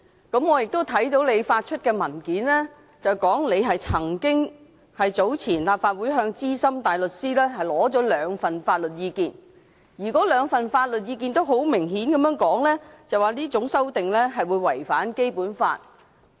我對此深表關注，因為你在所發出的文件中表示，早前立法會曾向資深大律師取得兩份法律意見，而該兩份法律意見都明確表示這項修訂建議會違反《基本法》。